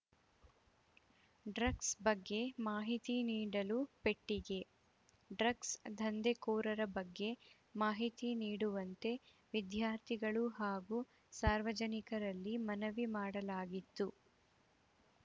drugs ಬಗ್ಗೆ ಮಾಹಿತಿ ನೀಡಲು ಪೆಟ್ಟಿಗೆ ಡ್ರಗ್ಸ್‌ ದಂಧೆಕೋರರ ಬಗ್ಗೆ ಮಾಹಿತಿ ನೀಡುವಂತೆ ವಿದ್ಯಾರ್ಥಿಗಳು ಹಾಗೂ ಸಾರ್ವಜನಿಕರಲ್ಲಿ ಮನವಿ ಮಾಡಲಾಗಿತ್ತು